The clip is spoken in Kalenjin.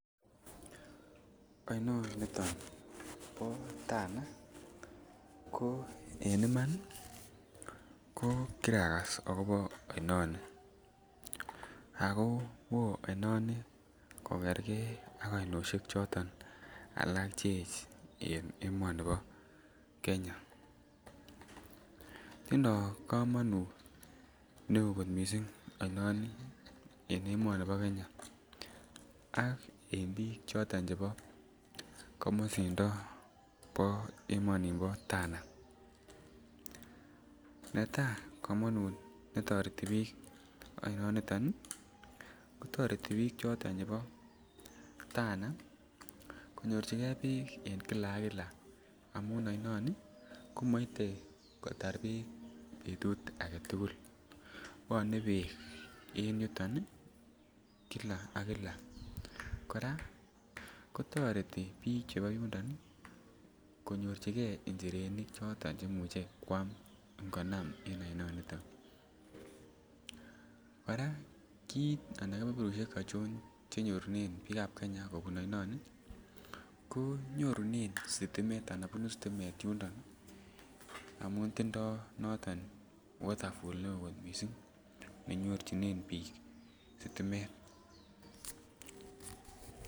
Oinoniton bo Tana ko en iman ii ko kiragas akobo oinoni ako woo oinon kogergee ak oinoshek alak cheech en emoniton bo Kenya. Tindo komonut me oo kot missing oinoni en emoni bo Kenya ak en biik choton chebo komosindo bo emoni bo Tana. Netaa komonut be toreti biik oinoni ton ko toreti biik choton chebo Tana konyorjigee beek en Kila ak Kila amun oinon ko kotar beek betut agetugul bwone beek en yuton ii Kila ak Kila. Koraa ko toreti biik chebo yundon ii konyorjigee njirenik choton che muche kwam ngonam en oinoniton, koraa kit ana kebeberushek achon che nyorunen biikab Kenya kobun oinon ko nyorunen stimet anan bunu stimet yundon ii amun tindo noton waterfall ne oo kot missing ne nyorjinen biik stimet